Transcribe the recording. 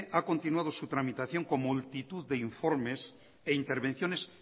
ha continuado su tramitación con multitud de informes e intervenciones